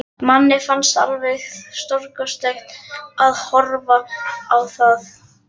Manni fannst alveg stórkostlegt að horfa á það.